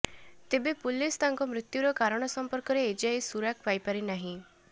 ତେବେ ପୁଲିସ୍ ତାଙ୍କ ମୃତ୍ୟୁର କାରଣ ସମ୍ପର୍କରେ ଏ ଯାଏ ସୁରାକ ପାଇପାରି ନାହିଁ